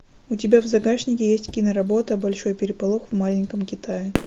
у тебя в загашнике есть киноработа большой переполох в маленьком китае